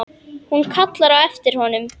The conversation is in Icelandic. Hún kallar á eftir honum.